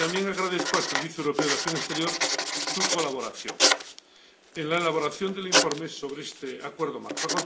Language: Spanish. Y también agradezco al Servicio Europeo de Acción Exterior su colaboración en la elaboración del informe sobre este Acuerdo Marco.